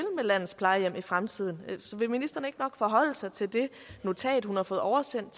landets plejehjem i fremtiden vil ministeren ikke nok forholde sig til det notat hun har fået oversendt